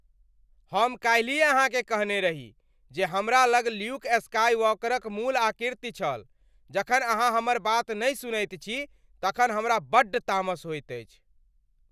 हम काल्हिये अहाँकेँ कहने रही जे हमरा लग ल्यूक स्काईवॉकरक मूल आकृति छल, जखन अहाँ हमर बात नहि सुनैत छी तखन हमरा बड्ड तामस होइत अछि।